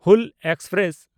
Hul express